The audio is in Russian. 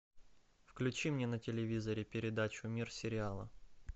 включи мне на телевизоре передачу мир сериала